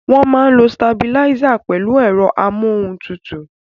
Wọ́n máa ń lo sitabiláísì pẹ̀lú ẹ̀rọ amóhun tutù.